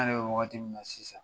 An yɛrɛ bɛ waati min na sisan